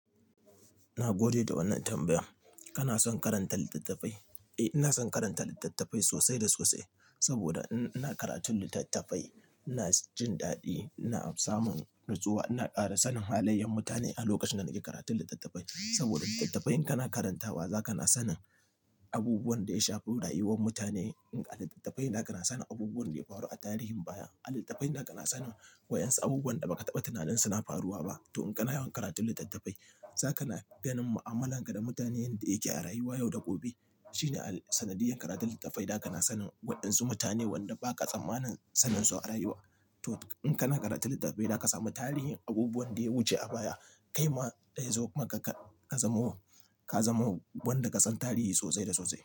Na gode da wannan tambayar. Kana son karanta littattafai? Eh, ina son karanta littattafai sosai da sosai. Saboda in ina karatun littattafai, ina jin daɗi, ina samun natsuwa, ina ƙara sanin halayyar mutane a lokacin da nake karatun littattafai. Saboda littattafai in kana karantawa zaka na sanin abubuwan da ya shafi rayuwar mutane. In a littattafai da kana sanin abubuwan da ya faru a tarihin baya, a littattafai da kana sanin wa'yansu abubuwan da ba ka taɓa tunanin suna faruwa ba. To in kana yawan karatun littattafai zaka ganin mu'amala ka da mutanen da yake a rayuwa yau da gobe. Shine sanadiyar karatun littattafai da kana sanin wa'yansu mutane wanda ba ka tsammanin sanin su a rayuwa. To in kana karatun littattafai da ka sami tarihin abubuwan da ya wuce a baya, kai ma dai zo kuma ka-ka zamo, ka zamo wanda kasan tarihi sosai da sosai.